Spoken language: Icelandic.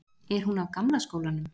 Er hún af gamla skólanum?